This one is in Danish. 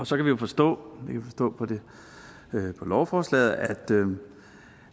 så kan vi forstå på lovforslaget at